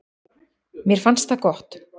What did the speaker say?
Mér fannst það gott.